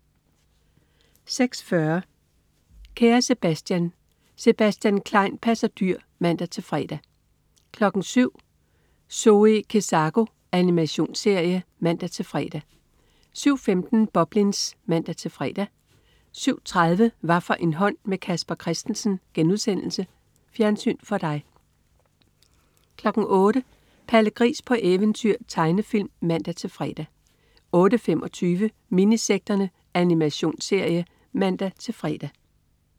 06.40 Kære Sebastian. Sebastian Klein passer dyr (man-fre) 07.00 Zoe Kezako. Animationsserie (man-fre) 07.15 Boblins (man-fre) 07.30 Hvaffor en hånd med Casper Christensen.* Fjernsyn for dig 08.00 Palle Gris på eventyr. Tegnefilm (man-fre) 08.25 Minisekterne. Animationsserie (man-fre)